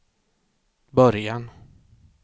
början